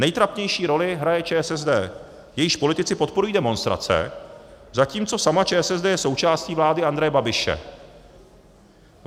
Nejtrapnější roli hraje ČSSD, jejíž politici podporují demonstrace, zatímco sama ČSSD je součástí vlády Andreje Babiše.